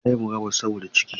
Ta yi murabus saboda cikin.